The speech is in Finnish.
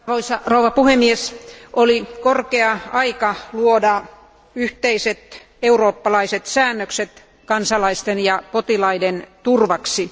Arvoisa puhemies, oli korkea aika luoda yhteiset eurooppalaiset säännökset kansalaisten ja potilaiden turvaksi.